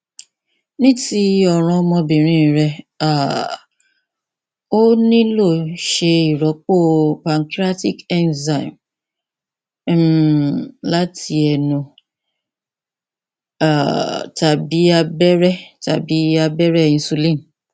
ní ti ọràn ọmọbìnrin rẹ um ó nílò ṣe ìrọpò pancreatic enzyme um láti ẹnu um tàbí abẹrẹ tàbí abẹrẹ insulin